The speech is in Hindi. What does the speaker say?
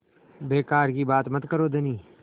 बेकार की बात मत करो धनी